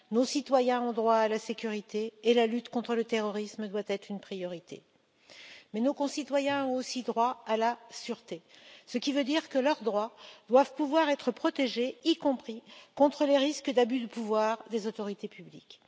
Nos citoyens ont droit à la sécurité, et la lutte contre le terrorisme doit être une priorité. Mais nos concitoyens ont aussi droit à la sûreté, ce qui veut dire que leurs droits doivent pouvoir être protégés, y compris contre les risques d'abus de pouvoir des autorités publiques.